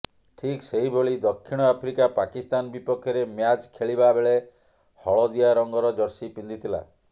ଠିକ ସେହିଭଳି ଦକ୍ଷିଣ ଆଫ୍ରିକା ପାକିସ୍ତାନ ବିପକ୍ଷରେ ମ୍ୟାଚ ଖେଳିବାବେଳେ ହଳଦିଆ ରଙ୍ଗର ଜର୍ସି ପିନ୍ଧିଥିଲା